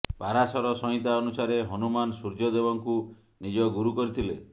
ପାରାଶର ସଂହିତା ଅନୁସାରେ ହନୁମାନ ସୂର୍ଯ୍ୟ ଦେବଙ୍କୁ ନିଜ ଗୁରୁ କରିଥିଲେ